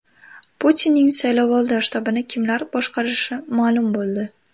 Putinning saylovoldi shtabini kimlar boshqarishi ma’lum bo‘ldi.